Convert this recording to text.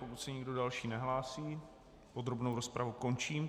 Pokud se nikdo další nehlásí, podrobnou rozpravu končím.